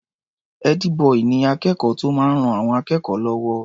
Ẹ́dí-bọì ni akẹ́kọ̀ọ́ tó máa ń ran àwọn akẹ́kọ̀ọ́ lọ́wọ́.